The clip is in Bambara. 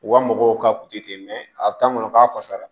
U ka mɔgɔw ka kunti ten a kɔnɔ k'a fasara